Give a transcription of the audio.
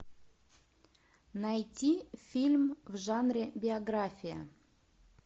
найти фильм в жанре биография